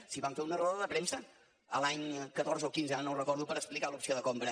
si vam fer una roda de premsa l’any catorze o quinze ara no ho recordo per explicar l’opció de compra